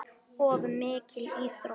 Of mikil íþrótt.